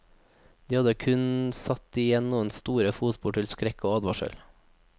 De hadde kun satt igjen noen store fotspor til skrekk og advarsel.